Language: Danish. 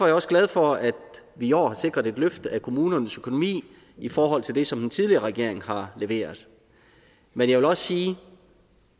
jeg også glad for at vi i år har sikret et løft af kommunernes økonomi i forhold til det som den tidligere regering har leveret men jeg vil også sige